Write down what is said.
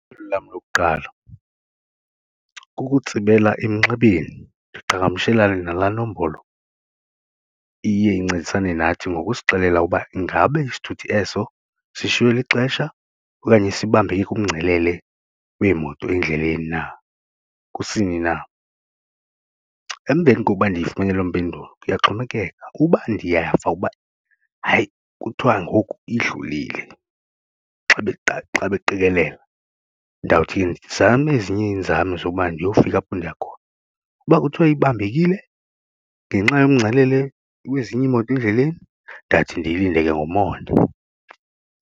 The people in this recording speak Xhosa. Lam lokuqala kukutsibela emnxebeni ndiqhagamshelane nalaa nombolo iye incedisane nathi ngokusixelela uba ingabe isithuthi eso sishiywe lixesha okanye sibambeke kumngcelele wemoto endleleni na kusini na. Emveni kokuba ndiyifumene lo mpendulo kuyaxhomekeka uba ndiyava uba hayi kuthwa ngoku idlulile xa beqikelela ndawuthi ndizame ezinye iinzame zokuba ndiyofika apho ndiya khona, uba kuthiwe ibambekile ngenxa yomngcelele wezinye iimoto endleleni ndathi ndiyilinde ke ngomonde.